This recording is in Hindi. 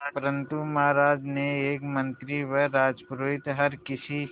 परंतु महाराज के एक मंत्री व राजपुरोहित हर किसी